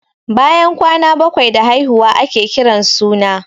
Bayan kwana bakwai da haihuwa ake kiran suna.